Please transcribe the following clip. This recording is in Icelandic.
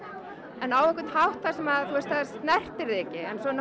en á einhvern hátt sem snertir þig ekki